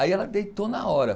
Aí ela deitou na hora.